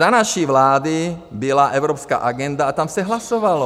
Za naší vlády byla evropská agenda a tam se hlasovalo.